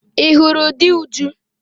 Ị hụrụ di Uju?